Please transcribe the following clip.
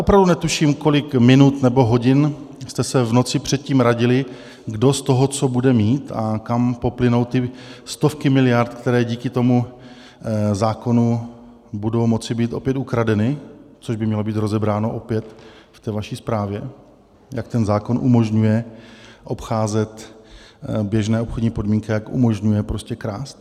Opravdu netuším, kolik minut nebo hodin jste se v noci předtím radili, kdo z toho co bude mít a kam poplynou ty stovky miliard, které díky tomu zákonu budou moci být opět ukradeny, což by mělo být rozebráno opět v té vaší zprávě, jak ten zákon umožňuje obcházet běžné obchodní podmínky, jak umožňuje prostě krást.